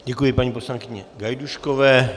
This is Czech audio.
Děkuji, paní poslankyni Gajdůškové.